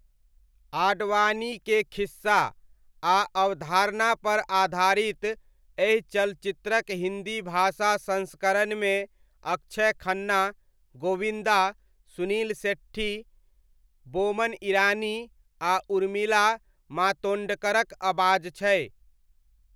आडवाणीके खिस्सा आ अवधारणापर आधारित, एहि चलचित्रक हिन्दी भाषा संस्करणमे अक्षय खन्ना, गोविन्दा, सुनील शेट्टी, बोमन ईरानी, आ उर्मिला मातोण्डकरक अबाज छै।